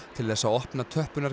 til þess að opna